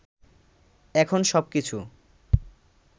এখন সবকিছু